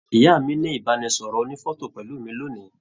Ìyá mí ní ibanisọrọ ònífọ̀tò pẹlu mi lónìí.